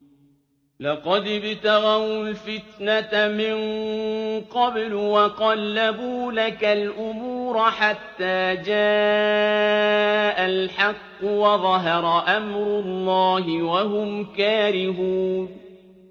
لَقَدِ ابْتَغَوُا الْفِتْنَةَ مِن قَبْلُ وَقَلَّبُوا لَكَ الْأُمُورَ حَتَّىٰ جَاءَ الْحَقُّ وَظَهَرَ أَمْرُ اللَّهِ وَهُمْ كَارِهُونَ